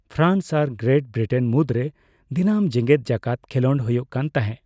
France ᱟᱨ Great Britain ᱢᱩᱫᱨᱮ ᱫᱤᱱᱟᱹᱢ ᱡᱮᱜᱮᱫ ᱡᱟᱠᱟᱛ ᱠᱷᱮᱞᱳᱰ ᱦᱳᱭᱳᱜ ᱠᱟᱱ ᱛᱟᱦᱮᱸ ᱾